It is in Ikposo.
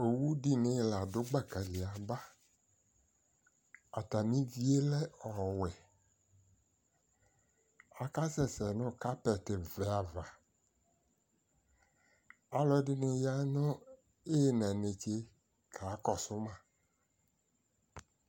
Owu dɩnɩ ladʋ gbaka li yaba, atam'ivie lɛ ɔwɛ; kasɛ sɛ nʋ kapɛtɩvɛ ava, alʋɛdɩnɩ ya nʋ ɩyɩna netse kakɔsʋ ma